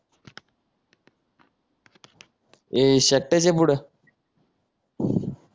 हे शेपट्याच्या पुढं